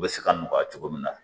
U bɛ se ka nɔgɔya cogo min na